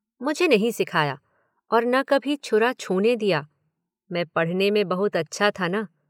मुझे नहीं सिखाया, और न कभी छुरा छूने दिया, मैं पढ़ने में बहुत अच्छा था न।